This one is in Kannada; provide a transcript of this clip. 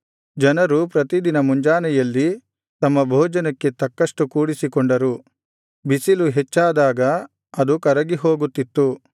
ಜನರು ಪ್ರತಿದಿನ ಮುಂಜಾನೆಯಲ್ಲಿ ತಮ್ಮ ಭೋಜನಕ್ಕೆ ತಕ್ಕಷ್ಟು ಕೂಡಿಸಿಕೊಂಡರು ಬಿಸಿಲು ಹೆಚ್ಚಾದಾಗ ಅದು ಕರಗಿಹೋಗುತ್ತಿತ್ತು